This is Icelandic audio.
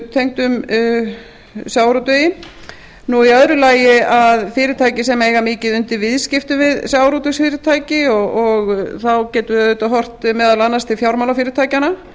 tengdum sjávarútvegi í öðru lagi fyrirtækjum sem eiga mikið undir viðskiptum við sjávarútvegsfyrirtæki og þá getum við meðal annars horft meðal annars til fjármálafyrirtækjanna